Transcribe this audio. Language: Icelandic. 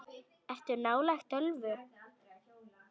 Ertu nálægt tölvu?